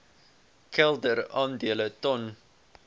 kelder aandele ton